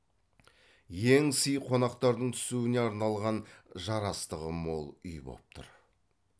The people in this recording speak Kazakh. ең сый қонақтардың түсуіне арналған жарастығы мол үй боп тұр